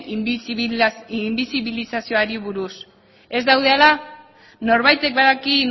inbisibilizazioari buruz ez daude ala norbaitek badaki